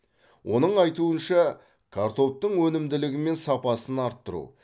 оның айтуынша картоптың өнімділігі мен сапасын арттыру